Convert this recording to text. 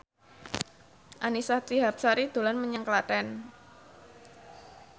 Annisa Trihapsari dolan menyang Klaten